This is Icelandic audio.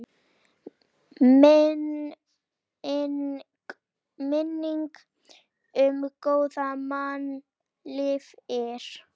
Minning um góðan mann lifir.